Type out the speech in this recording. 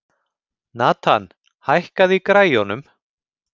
Nathan, hækkaðu í græjunum.